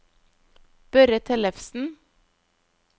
Børre Tellefsen